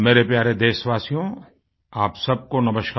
मेरे प्यारे देशवासियो आप सबको नमस्कार